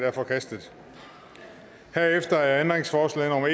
er forkastet herefter er ændringsforslag